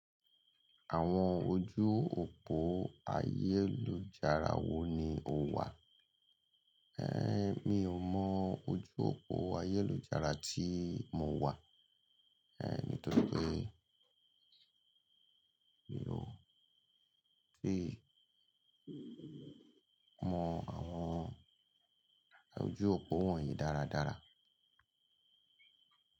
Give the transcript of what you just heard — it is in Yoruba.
Àwọn ojú òpó ayélujára wo ni o wà? Mi ò mọ ojú òpó ayélujára tí mo wà, nítorí pé mi ò tíì mọ àwọn ojú òpó wọ̀nyí dáradára.